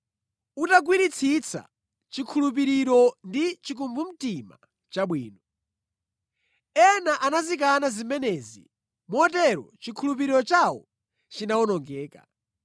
utagwiritsitsa chikhulupiriro ndi chikumbumtima chabwino. Ena anazikana zimenezi motero chikhulupiriro chawo chinawonongeka.